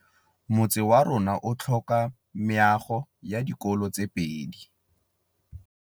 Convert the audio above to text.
Motse warona o tlhoka meago ya dikolô tse pedi.